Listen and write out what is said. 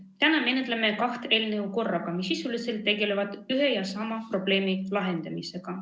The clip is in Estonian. Täna menetleme korraga kahte eelnõu, mis sisuliselt tegelevad ühe ja sama probleemi lahendamisega.